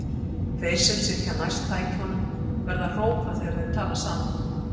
Þeir sem sitja næst tækjunum verða að hrópa þegar þeir tala saman.